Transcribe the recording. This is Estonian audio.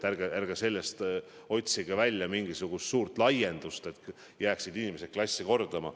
Arge otsige mingisugust suurt laiendust, et inimesed peavad jääma klassi kordama.